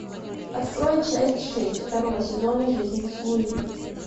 открой часть шесть второго сезона жизнь с луи